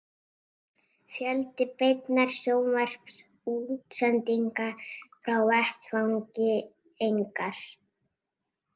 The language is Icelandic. Fjöldi beinna sjónvarpsútsendinga frá vettvangi: engar.